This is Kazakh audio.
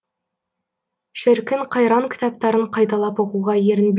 шіркін қайран кітаптарын қайталап оқуға ерінбейтін